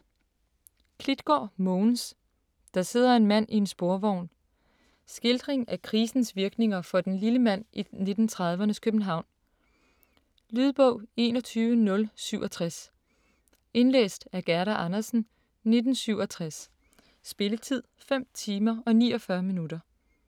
Klitgaard, Mogens: Der sidder en mand i en sporvogn Skildring af krisens virkninger for "den lille mand" i 1930'rnes København. Lydbog 21067 Indlæst af Gerda Andersen, 1967. Spilletid: 5 timer, 49 minutter.